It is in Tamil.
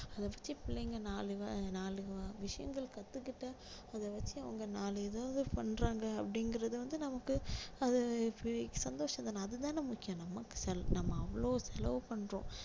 அதை பத்தி பிள்ளைங்க நாலு வ~ நாலு விஷயங்கள் கத்துக்கிட்டா அதை வச்சி அவங்க நாலு எதாவது பண்றாங்க அப்படிங்கிறது வந்து நமக்கு அது இப்பக்~சந்தோஷம் தானே அது தானே முக்கியம் நமக்கு செ~ நம்ம அவ்ளோ செலவு பண்றோம்